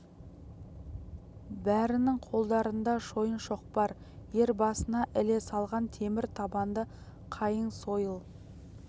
бәрінің қолдарында шойын шоқпар ер басына іле салған темір табанды қайың сойыл